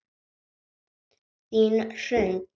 Þín Hrund.